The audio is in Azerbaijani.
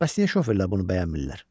Bəs niyə şoferlər bunu bəyənmirlər?